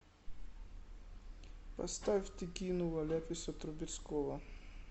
поставь ты кинула ляписа трубецкого